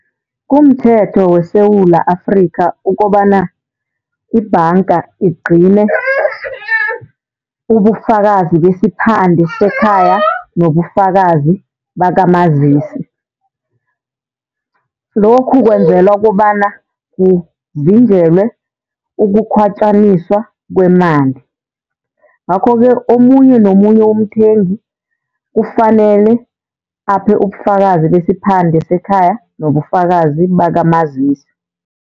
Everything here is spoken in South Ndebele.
Kumthetho weSewula Afrikha, ukobana ibhanga igcine ubufakazi besiphande sekhaya nobufakazi bakamazisi. Lokhu kwenzelwa kobana kuvinjelwe ukukhwatjaniswa kwemali. Ngakho-ke omunye nomunye umthengi kufanele aphe ubufakazi besiphande sekhaya nobufakazi bakamazisi.